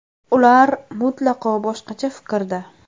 Ular mutlaqo boshqacha fikrda.